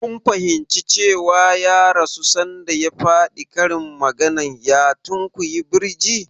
Kun fahimci cewa ya rasu sanda ya faɗi karin maganar "ya tunkuyi birji"?